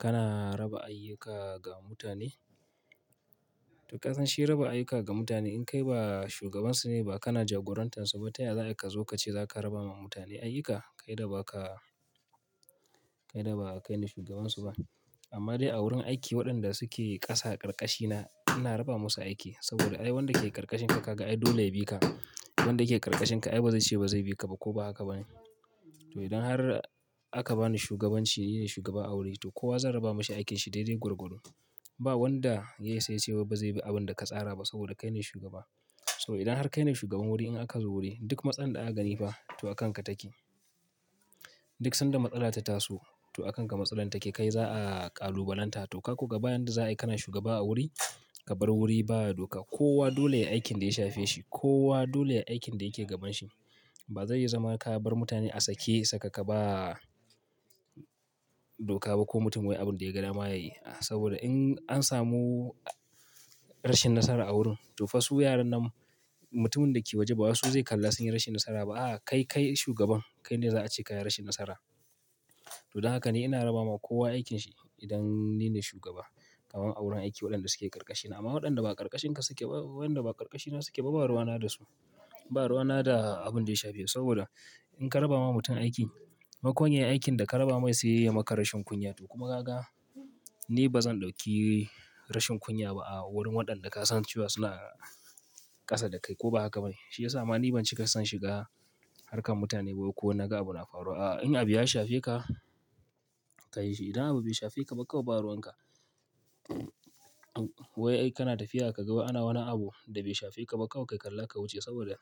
Kana raba ayyuka ga mutane? To kasan shi raba ayyuka ga mutane in kai ba shugabansu ne ba, kana jagorantansu ba, ta ya za a yi ka zo ka ce za ka raba ma mutane ayyuka? Kai da ba ka-- kai da ba kai ne shugabansu ba. Amma dai a wurin aiki waɗanda suke ƙasa karkashina ina raba musu aiki saboda ai wanda ke karkashinka ka ga ai dole ya bi ka. Wanda ke karkashinka ai ba zai ce ba zai bi ka ba ko ba haka ba ne? To idan har aka bani shugabanci, ni ne shugaba a wuri, to kowa zan raba mishi aikinsa daidai gwargwado. Ba wanda ya isa ya ce wai bazai bi abin da ka tsara ba saboda kai ne shugaba. Saboda idan har kai ne shugaban wuri in aka zo wuri duk matsalan da aka gani fa to a kanka take. Duk sanda matsala ta taso to a kanka matsalar take kai za'a kalubalanta to ka ko ga ba yanda za a yi ka na shugaba a wuri, ka bar wuri ba doka. Kowa dole ya yi aikin da ya shafe shi, kowa dole ya yi aikin da yake gabanshi. Ba zai yi zama ka bar mutane a sake sakaka ba doka ba ko mutum wai abin da ya ga dama ya yi. Saboda in an samu rashin nasara a wurin to fa su yaran nan mutumin da ke waje ba wasu zai kalla sun yi rashin nasara ba. A'a, kai, kai shugaban. Kai ne za'a ce ka yi rashin nasara. To don haka ni ina raba ma kowa aikinsa idan ni ne shugaba kaman a wurin aiki waɗanda suke ƙarkashina. Amma waɗanda ba ƙarkashin suke ba, waɗanda ba ƙarƙashina suke ba, ba ruwana da su. Ba ruwana da abin da ya shafe. Saboda in ka raba ma mutum aiki maimakon ya yi aikin da ka raba mai sai ya yi maka rashin kunya to kuma gaga ni bazan dauki rashin kunya ba a wurin waɗanda ka san cewa su na ƙasa da kai ko ba haka ba ne? Shi ya sama ni ban cika son shiga harkar mutane ba ko na ga abu na faruwa. A'a, in abu ya shafe ka ka yi shi. Idan abu bai shafe ka ba kawai ba ruwan ka. Wai ai kana tafiya ka ga ana wai wani abu da bai shafe ka ba kawai ka kalla ka wuce saboda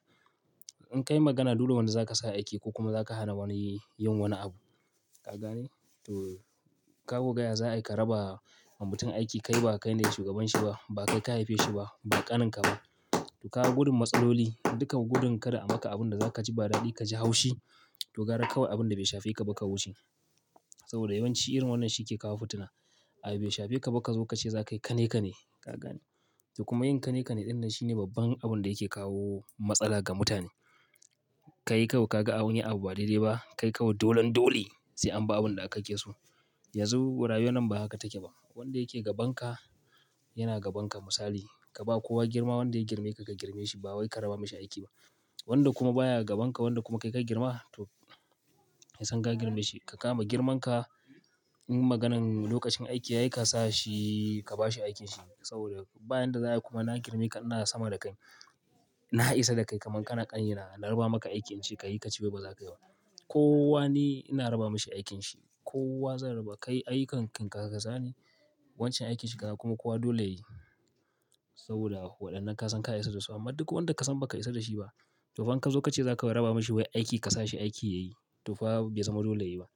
in ka yi magana dole wani za ka sa aiki ko kuma za ka hana wani yin wani abu. Ka gane? To ka ko ga ya za'a yi ka raba ma mutum aiki kai ba kai ne shugaban shi ba, ba kai ka haife shi ba, ba ƙanin ka ba. To ka gudun matsaloli dukan gudun kada a maka abin da za ka ji ba daɗi ka ji haushi to gara kawai abin da bai shafe ka ba ka wuce. Saboda yawanci irin wannan shi ke kawo fitina. Abu bai shafe ka ba ka zo ka ce za ka yi, kane-kane. Ka gane? To kuma yin kane-kane ɗinnan shi ne babban abin da yake kawo matsala ga mutane. Kai kawai ka ga an yi abu ba daidai ba, kai kawai dolen dole sai an ba abin da kake so. Yanzu rayuwan nan ba haka take ba. Wanda yake gabanka yana gabanka misali. Ka ba kowa girma wanda ya girme ka ka girmeshi ba wai ka raba mashi aiki ba. Wanda kuma baya gabanka wanda kuma kai ka girma to yasan ka girmeshi. Ka kama girmanka in maganan lokacin aiki yayi ka sa shi ka ba shi aikinsa. Saboda bayanda za'a yi kuma na girme ka ina sama da kai, na isa da kai kaman kana ƙani na. Na raba maka aikin in ce ka yi kace, wai ba za ka yi ba. Kowa ni ina raba mashi aikinsa. Kowa zan raba. Kai ayyukanka kanka sani wancan aikin shi kaga kuma kowa dole ya yi. Saboda waɗannan kasan ka isa dasu amma duk wanda kasan baka isa da shi ba to fa in ka zo ka ce za ka raba mashi wai aiki ka sa shi aiki ya yi to fa bai zama dole ya yi ba.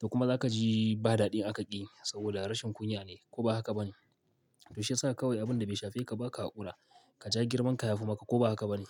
To kuma za ka ji ba daɗi aka ƙi saboda rashin kunya ne ko ba haka ba ne? To shi ya sa kawai abin da bai shafe ka ba ka kula, ka ja girmanka ya fi maka ko ba haka ba ne?